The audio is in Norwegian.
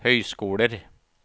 høyskoler